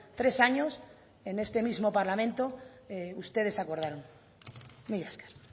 tres años en este mismo parlamento ustedes acordaron mila esker